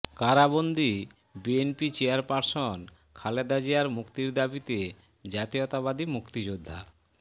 কারাবন্দি BNP chairperson Khaleda জিয়ার মুক্তির দাবিতে জাতীয়তাবাদী মুক্তিযোদ্ধা